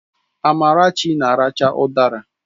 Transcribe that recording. Amarachi na aracha udara